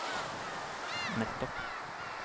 nettopp